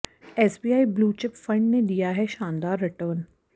SBI blue chip fund ने दिया है शानदार रिटर्न